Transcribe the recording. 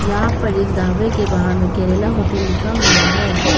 यहां पर ढाबा के बाहर में केरला होटल लिखा हुआ है।